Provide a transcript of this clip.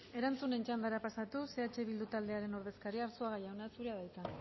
erantzunen txandara pasatuz eh bildu taldearen ordezkaria arzuaga jauna zurea da hitza